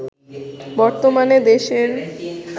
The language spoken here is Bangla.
বর্তমানে দেশের